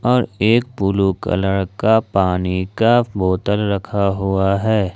और एक blue colour का पानी का बोतल रखा हुआ है।